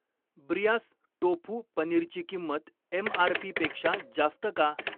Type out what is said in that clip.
Breyers tofu पनीरची किंमत MRP. पेक्षा जास्त का?